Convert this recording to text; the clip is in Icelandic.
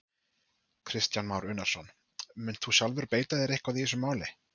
Kristján Már Unnarsson: Munt þú sjálfur beita þér eitthvað í þessu máli?